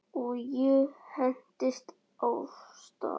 Og ég hentist af stað.